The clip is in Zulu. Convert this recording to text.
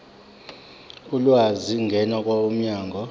ulwazi ngena kwabomnyango